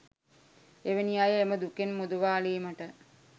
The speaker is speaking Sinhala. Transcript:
එවැනි අය එම දුකින් මුදවාලීමට